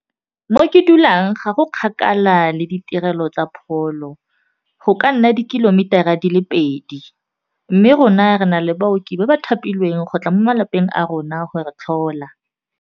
Mo ke dulang ga go kgakala le ditirelo tsa pholo go ka nna dikilomitara a di le pedi mme rona re na le baoki ba ba thapilweng go tla mo malapeng a rona go re tlhola.